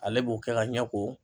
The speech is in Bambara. Ale b'o kɛ ka ɲɛ ko